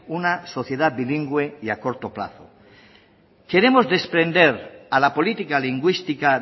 una sociedad bilingüe y a corto plazo queremos desprender a la política lingüística